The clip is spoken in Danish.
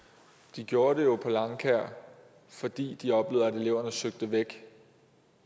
de gjorde det jo på langkaer fordi de oplevede at eleverne søgte væk